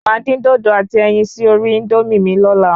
Máa dín dòdò àti ẹyin sí orí Índómì mi lóla